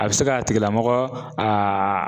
A bɛ se k'a tigilamɔgɔ aa